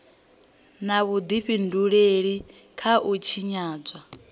na vhudifhinduleli kha u tshinyadzwa